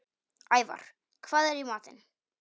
Ævarr, hvað er í matinn?